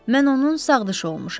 Mən onun sağdışı olmuşam.